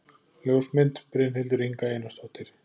Ljósmynd: Brynhildur Inga Einarsdóttir